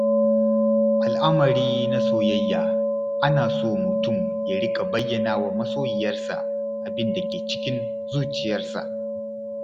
A al'amari na soyayya, ana so mutum ya riƙa bayyana wa masoyiyarsa abin da ke cikin zuciyarsa.